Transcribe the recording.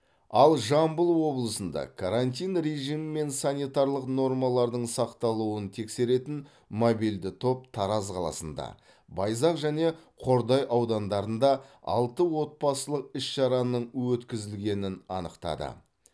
ал жамбыл облысында карантин режимі мен санитарлық нормалардың сақталуын тексеретін мобильді топ тараз қаласында байзақ және қордай аудандарында алты отбасылық іс шараның өткізілгенін анықтады